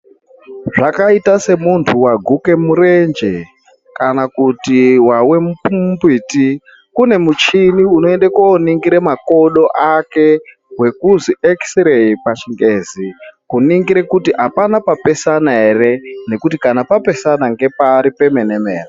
Zvakaita semuntu waguke murenje kana kuti wawe mumbuti kune muchini unoende koningira makodo ake wekuzi ekisireyi pachingezi kuningira kuti apana papesana ere nekuti kana papesana ngepari pemene.